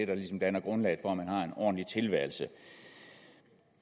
der ligesom danner grundlag for at man har en ordentlig tilværelse